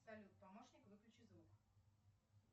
салют помощник выключи звук